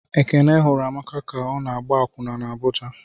Ekene hụrụ Amaka ka ọ na-agba akwụna n' Abuja.